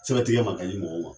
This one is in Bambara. Sɛbɛn tigɛ ma ka di mɔgɔw ma.